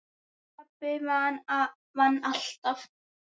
Pabbi vann alltaf.